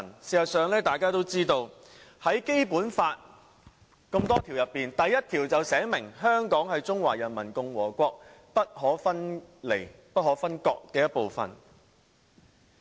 事實上，《基本法》第一條便訂明："香港特別行政區是中華人民共和國不可分離的部分。